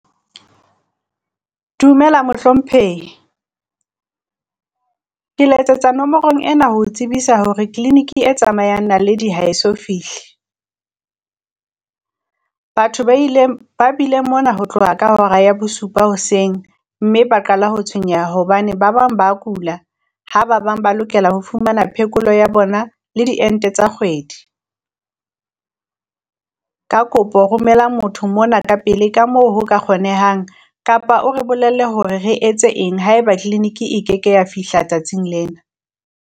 Dumela mohlomphehi Ke letsetsa nomorong ena ho tsebisa hore tleniki e tsamayang naledi ha e so fihle. Batho ba ileng ba bile mona ho tloha ka hora ya bosupa hoseng mme ba qala ho tshwenyeha, hobane ba bang ba kula ha ba bang ba lokela ho fumana phekolo ya bona le di ente tsa kgwedi. Ka kopo romela motho mona ka pele ka moo ho ka kgonehang, kapa o re bolelle hore re etse eng haeba tleniki e keke ya fihla tsatsing lena.